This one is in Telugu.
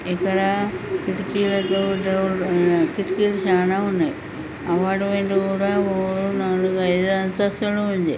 ఇక్కడ కిటికీలతో కిటికీలు చానా ఉన్నాయి. అపార్ట్మెంట్ కూడా నాలుగు ఐదు అంతస్తులు ఉంది.